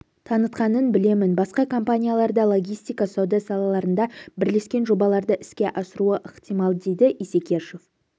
танытқанын білемін басқа компаниялар да логистика сауда салаларында бірлескен жобаларды іске асыруы ықтимал дейді исекешев